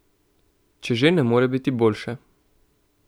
Če že ne more biti boljše.